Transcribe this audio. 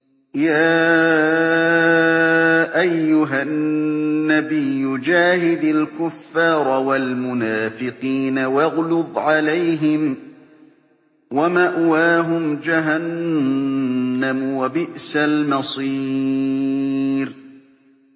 يَا أَيُّهَا النَّبِيُّ جَاهِدِ الْكُفَّارَ وَالْمُنَافِقِينَ وَاغْلُظْ عَلَيْهِمْ ۚ وَمَأْوَاهُمْ جَهَنَّمُ ۖ وَبِئْسَ الْمَصِيرُ